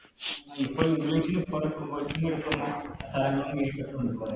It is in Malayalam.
ആ ഇപ്പോൾ